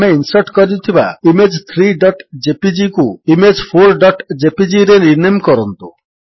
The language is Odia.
ଆମେ ଇନ୍ସର୍ଟ କରିଥିବା ଇମେଜ୍ 3jpgକୁ Image4jpgରେ ରିନେମ୍ କରନ୍ତୁ